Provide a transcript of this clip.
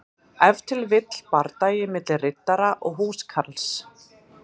Ef til vill bardagi milli riddara og húskarls.